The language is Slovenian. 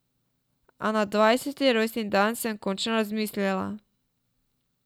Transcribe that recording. A na dvajseti rojstni dan sem končno razmislila.